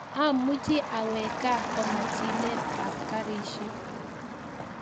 Amuchi awek kaa koma chilet ap karishek